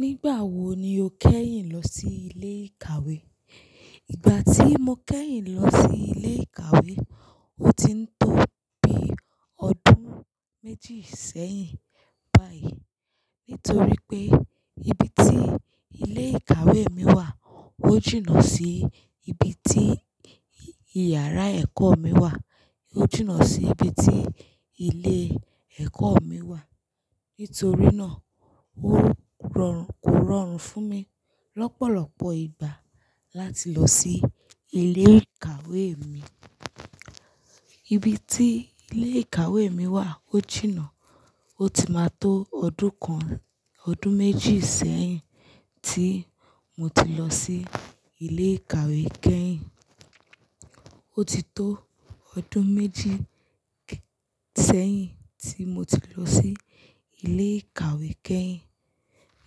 Nígbà wo ni o kẹ́yìn lọ sí ilé ìkàwé? Ìgbà tí mo kẹ́yìn lọ sí ilé ìkàwé, ó ti ń tó bí ọdún méjì sẹ́yìn báyìí. Nítorí pé ibi tí ilé ìkàwé mi wà, ó jìnà sí ibi tí ìyàrá ẹ̀kọ́ mi wà. Ó jìnà sí ibi tí ilé ẹ̀kọ́ mi wà. Nítorí náà, ó rọ̀, kò rọrùn fún mi lọ́pọ̀lọpọ̀ ìgbà láti lọ sí ilé ìkàwé mi. Ibi tí ilé ìkàwé mi wà ó jìnà. Ó ti máa tó ọdún kan, ọdún méjì sẹ́yìn tí mo ti lọ sí ilé ìkàwé kẹ́yìn. Ó ti tó ọdún méjì k- sẹ́yìn tí mo ti lọ sí ilé ìkàwé kẹ́yìn.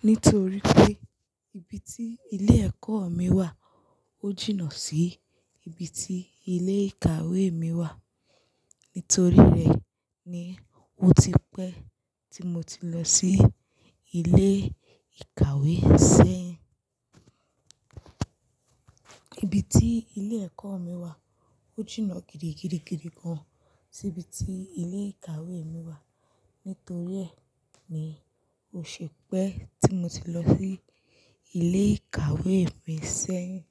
Nítorí pé ibi tí ilé ẹ̀kọ́ mi wà ó jìnà sí ibi tí ilé ìkàwé mi wà. Nítorí rẹ̀ ni ó ti pẹ́ tí mo ti lọ sí ilé ìkàwé sẹ́yìn. Ibi tí ilé ẹ̀kọ́ mi wà ó jìnà gidigidigidi gan sí ibi tí ilé ìkàwé mi wà. Nítorí ẹ̀ ni ó ṣẹ pẹ́ tí mo ti lọ sí ilé ìkàwé mi ṣẹ́yìn.